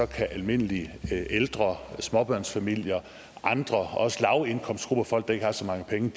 kan almindelige ældre småbørnsfamilier og andre også lavindkomstgrupper altså folk der ikke har så mange penge